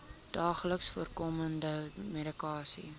daagliks voorkomende medikasie